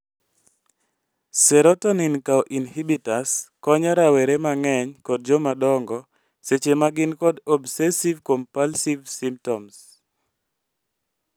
Serotonin kao inhibitors konyo rawere mang'eny kod joma dongo, seche magin kod obsessive compulsive symptoms